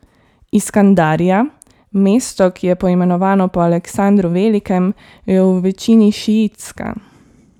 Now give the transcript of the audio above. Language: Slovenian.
Iskandarija, mesto, ki je poimenovano po Aleksandru Velikem, je v večini šiitska.